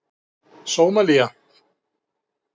Sómalía